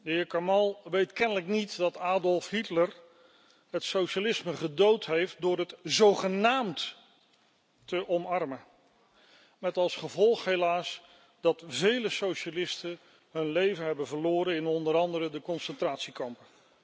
De heer Kamall weet kennelijk niet dat Adolf Hitler het socialisme gedood heeft door het zogenaamd te omarmen, met als gevolg helaas dat vele socialisten hun leven hebben verloren in onder andere de concentratiekampen.